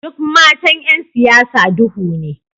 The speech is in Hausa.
Duk matan ’yan siyasa duhu ne